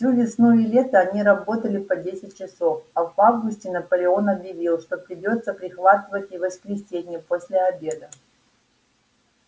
всю весну и лето они работали по десять часов а в августе наполеон объявил что придётся прихватывать и воскресенья после обеда